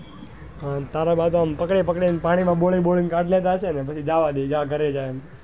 હા તારા પગ પકડી પકડી ને પાણી માં બોળી બોળી ને ગદ્લે જશે ને પછી જવાદે ગરે જા એમ,